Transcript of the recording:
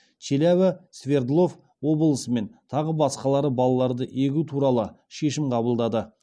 челябі свердлов облысы мен тағы басқалары балаларды егу туралы шешім қабылдады